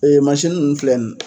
ninnu filɛ nin